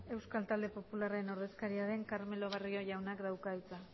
euskal talde popularraren ordezkaria den carmelo barrio jaunak dauka hitza